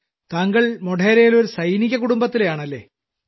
താങ്കൾ മോഢേരയിലെ ഒരു സൈനിക കുടുംബത്തിലെയാണല്ലേ